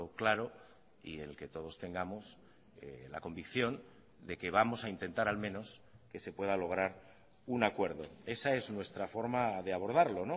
claro y el que todos tengamos la convicción de que vamos a intentar al menos que se pueda lograr un acuerdo esa es nuestra forma de abordarlo